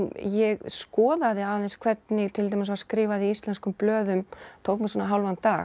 ég skoðaði aðeins hvernig til dæmis var skrifað í íslenskum blöðum tók mig svona hálfan dag